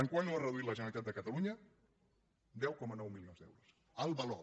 quant l’ha reduït la generalitat de catalunya deu coma nou milions d’euros el valor